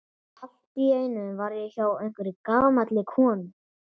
Allt í einu var ég hjá einhverri gamalli konu.